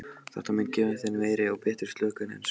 Þetta mun gefa þér meiri og betri slökun en svefn.